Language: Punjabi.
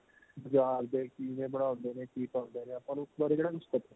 ਬਜ਼ਾਰ ਦੇ ਕੀ ਨੇ ਬਣਾਉਂਦੇ ਨੇ ਕੀ ਪਾਉਂਦੇ ਨੇ ਆਪਾਂ ਨੂੰ ਉਸ ਬਾਰੇ ਕਿਹੜਾ ਕੁੱਝ ਪਤਾ